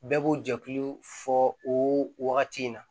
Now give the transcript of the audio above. Bɛɛ b'o jɛkulu fɔ o wagati in na